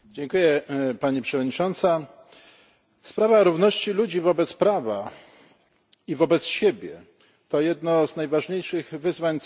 Sprawa równości ludzi wobec prawa i wobec siebie to jedno z najważniejszych wyzwań cywilizacyjnych, jakie stoi przed ludzkością.